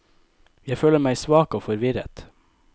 Jeg føler meg svak og forvirret.